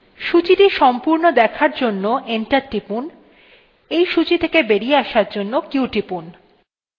সূচীটা সম্পূর্ণ দেখার জন্য enter টিপুন এই সূচী থেকে বেরিয়ে আসার জন্য q টিপুন